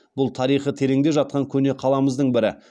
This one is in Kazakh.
бұл тарихы тереңде жатқан көне қаламыздың бірі